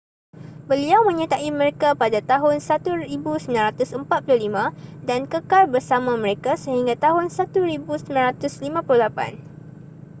beliau menyertai mereka pada tahun 1945 dan kekal bersama mereka sehingga tahun 1958